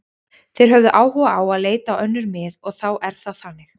Þeir höfðu áhuga á að leita á önnur mið og þá er það þannig.